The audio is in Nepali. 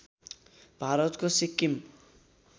भारतको सिक्किम